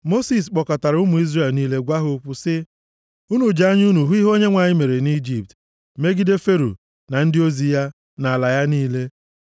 Mosis kpọkọtara ụmụ Izrel niile gwa ha okwu sị, Unu ji anya unu hụ ihe Onyenwe anyị mere nʼIjipt megide Fero, na ndị ozi ya, na ala ya niile.